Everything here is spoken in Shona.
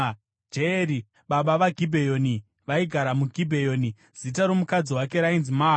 Jeyeri, baba vaGibheoni vaigara muGibheoni. Zita romukadzi wake rainzi Maaka,